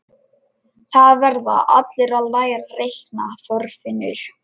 Það verða allir að læra að reikna, Þorfinnur